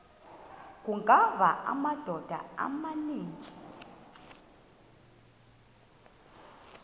kungawa amadoda amaninzi